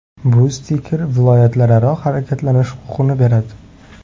Bu stiker viloyatlararo harakatlanish huquqini beradi.